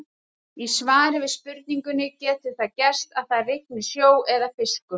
Í svari við spurningunni Getur það gerst að það rigni sjó eða fiskum?